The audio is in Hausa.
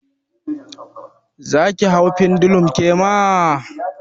Zaki hau pendulum kema?